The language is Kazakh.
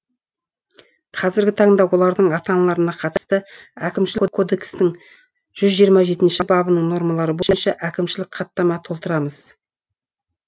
қазіргі таңда олардың ата аналарына қатысты әкімшілік кодекстің жүз жиырма жетінші бабының нормалары бойынша әкімшілік хаттама толтырамыз